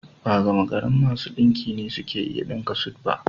Ba gamagarin masu ɗinki ne suke iya ɗinka sut ba